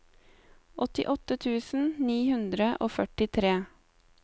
åttiåtte tusen ni hundre og førtitre